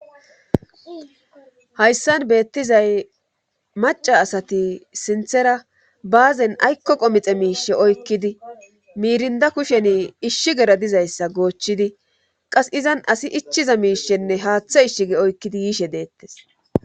hayssan beettizay maca asati sinthera baazen aykko qomixe miishe oykkidi miirinda kusheni ishshi gera dizayssa goochidi qas izan asi ichiza miishenne haaththe ishshige oykkidi yiishe deettes